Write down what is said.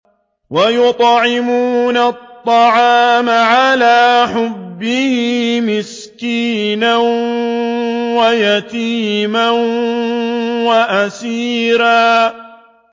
وَيُطْعِمُونَ الطَّعَامَ عَلَىٰ حُبِّهِ مِسْكِينًا وَيَتِيمًا وَأَسِيرًا